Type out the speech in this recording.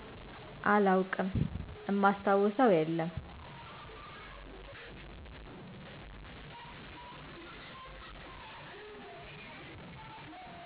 አላውቅም ማስታውሰው የለም